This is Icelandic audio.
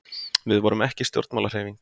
við vorum ekki stjórnmálahreyfing